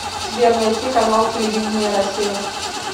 сбер найти канал телевидения россия